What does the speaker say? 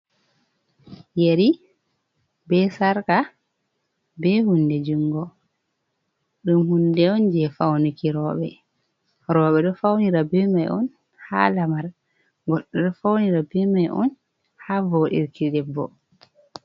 Yeri be sarka, be hunɗe jungo ɗum hunɗe on je fauniki robe. Robe ɗo faunira bemai on ha lamar goɗɗo ɗo faunira bemai on ha voɗirki ɗebbo.